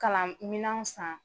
Kalan minan san.